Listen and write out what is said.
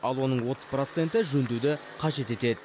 ал оның отыз проценті жөндеуді қажет етеді